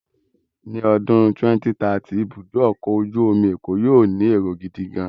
Ní ọdún 2030, ibùdó ọkọ̀ ojú omi Èkó yóó ní èrò gidigan-an.